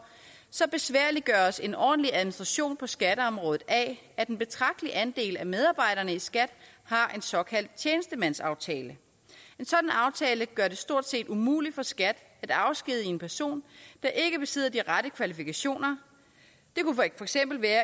så besværliggøres en ordentlig administration på skatteområdet af at en betragtelig andel af medarbejderne i skat har en såkaldt tjenestemandsaftale en sådan aftale gør det stort set umuligt for skat at afskedige en person der ikke besidder de rette kvalifikationer